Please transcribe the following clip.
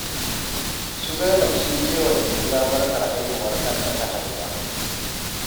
Su Zainab sun je wa Jamila barkar haihuwar ɗan da ta haifa